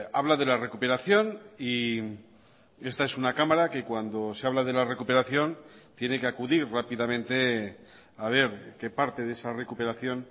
habla de la recuperación y esta es una cámara que cuando se habla de la recuperación tiene que acudir rápidamente a ver qué parte de esa recuperación